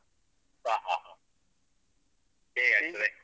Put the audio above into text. ಹ ಹ ಹ ಹೇಗೆ ಆಗ್ತದೆ?